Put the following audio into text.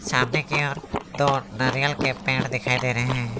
सामने की ओर दो नारियल के पेड़ दिखाई दे रहे हैं।